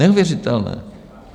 Neuvěřitelné!